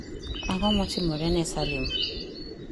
Ang'o motimore ne Salim